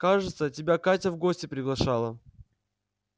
кажется тебя катя в гости приглашала